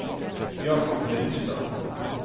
Jacob Lyngstad